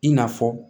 I n'a fɔ